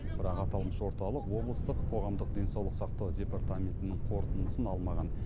бірақ аталмыш орталық облыстық қоғамдық денсаулық сақтау департаментінің қорытындысын алмаған